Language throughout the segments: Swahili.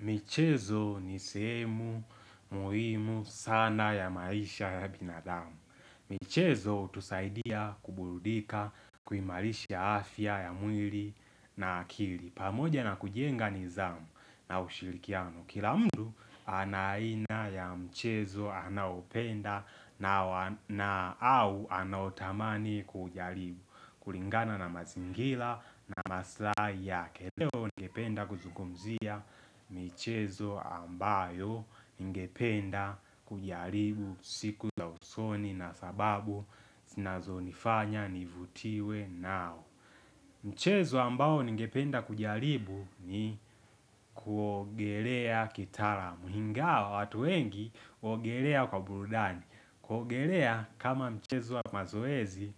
Michezo ni semu muhimu sana ya maisha ya binadamu. Michezo utusaidia kuburudika kuimalisha afya ya mwili na akili. Pamoja na kujienga nizamu na ushirikiano. Kila mtu anaina ya mchezo anaopenda na au anautamani kujaribu. Kulingana na mazingila na maslai yakel eo ningependa kuzukumzia. Michezo ambayo ngependa kujaribu siku za usoni na sababu sinazo nifanya nivutiwe nao michezo ambayo ngependa kujaribu ni kuogelea kitara muhinga watu wengi uogelea kwa burudani kuogelea kama mchezo wa mazoezi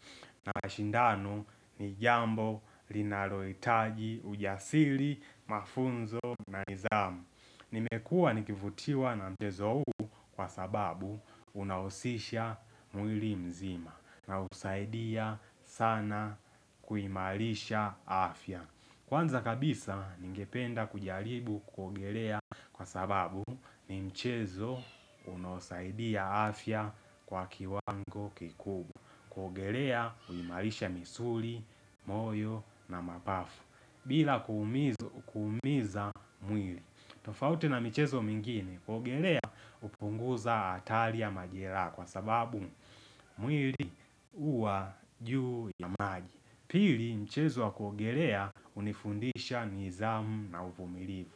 na mashindanu ni jambo linaloitaji ujasili mafunzo na nidhamu Nimekua nikifutiwa na mchezo huu kwa sababu unahusisha mwili mzima na usaidia sana kuimarisha afya Kwanza kabisa ningependa kujaribu kuogelea kwa sababu ni mchezo unosaidia afya kwa kiwango kikubwa. Kuogelea uimalisha misuri, moyo na mapafu bila kuumiza mwili. Tofauti na mchezo mingine kuogelea upunguza hatari majera kwa sababu mwili uwa juu ya maji. Pili mchezo wa kuogelea unifundisha nizamu na uvumiliu.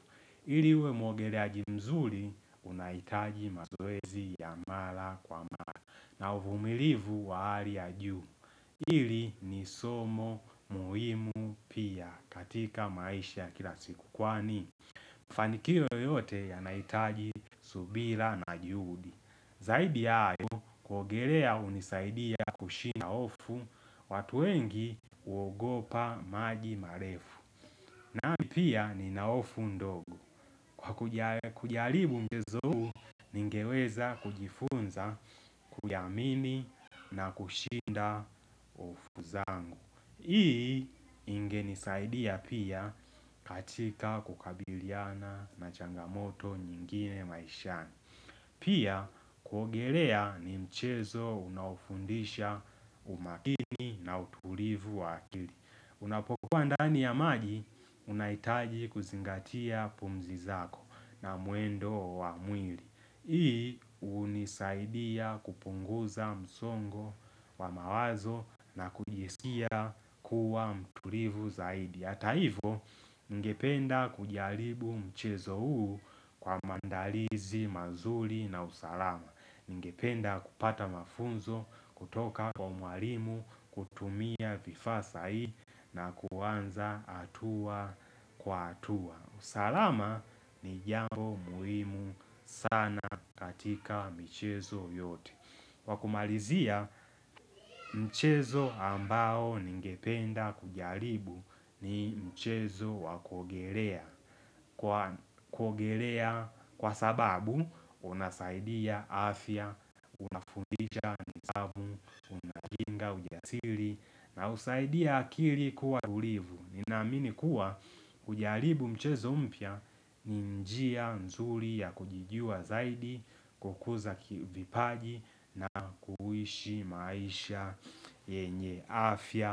Iliwe muogelea mzuri unaitaji mazoezi ya mara kwa mara na uvumilivu wa hali juu. Ili ni somo muhimu pia katika maisha kila siku kwani. Mfanikio yote yanaitaji subira na juhudi. Zaidi ya hayo kuogelea unisaidia kushinda hofu watu wengi uogopa maji marefu. Nami pia ni naofu ndogo. Kwa kujaribu mchezo huu ningeweza kujifunza kuyamini na kushinda hofu zangu. Hii inge nisaidia pia katika kukabiliana na changamoto nyingine maishani. Pia kuogelea ni mchezo unaufundisha umakini na utulivu wa akili. Unapokuwa ndani ya maji, unaitaji kuzingatia pumzi zako na muendo wa mwili. Hii unisaidia kupunguza msongo wa mawazo na kujiskia kuwa mtulivu zaidi. Ata hivo ningependa kujaribu mchezo huu kwa mandalizi mazuli na usalama Ningependa kupata mafunzo kutoka kwa mwalimu kutumia vifaa sahii na kuanza hatua kwa atua usalama ni jambo muhimu sana katika mchezo yote Wakumalizia mchezo ambao ningependa kujaribu ni mchezo wakogelea Kwa sababu unasaidia afya, fundisha, nidhamu, nga ujasiri na usaidia akili kuwa tulivu Ninaminikuwa kujaribu mchezo mpya ninjia nzuri ya kujijua zaidi kukuza kivipaji na kuhishi maisha yenye afya.